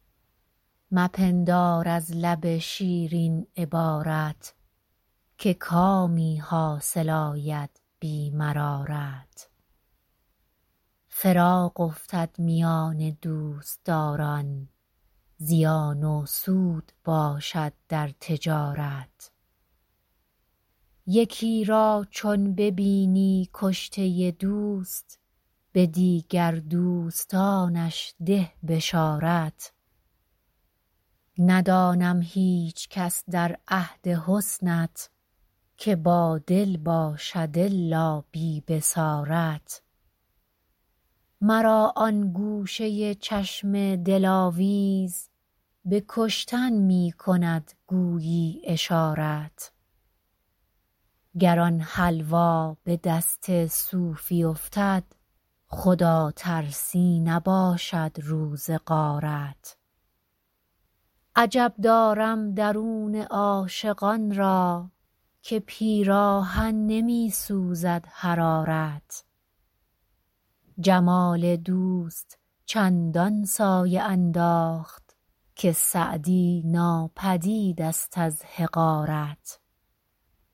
مپندار از لب شیرین عبارت که کامی حاصل آید بی مرارت فراق افتد میان دوستداران زیان و سود باشد در تجارت یکی را چون ببینی کشته دوست به دیگر دوستانش ده بشارت ندانم هیچکس در عهد حسنت که بادل باشد الا بی بصارت مرا آن گوشه چشم دلاویز به کشتن می کند گویی اشارت گر آن حلوا به دست صوفی افتد خداترسی نباشد روز غارت عجب دارم درون عاشقان را که پیراهن نمی سوزد حرارت جمال دوست چندان سایه انداخت که سعدی ناپدید ست از حقارت